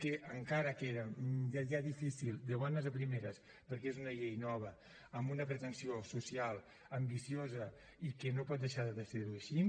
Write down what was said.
encara que era ja difícil de bones a primeres perquè és una llei nova amb una pretensió social ambiciosa i que no pot deixar de ser així